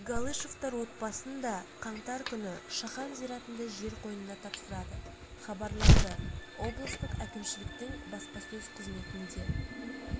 галышевтар отбасын да қаңтар күні шахан зиратында жер қойнына тапсырады хабарланды облыстық әкімшіліктің баспасөз қызметінде